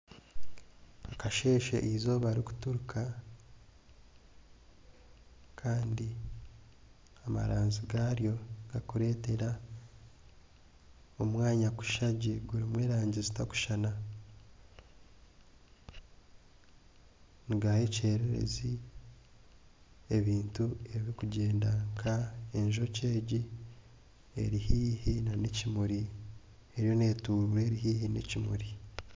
Omu kasheeshe eizooba rikuturuka kandi amaranzi gaaryo garikureetera omwanya kushusha gye gurimu erangi zitarikushushana, nigaaha ekyererezi. Ebintu ebirikugyenda nka enjoki egi eri haihi n'ekimuri eriyo n'eturuura eri haihi n'ekimuri.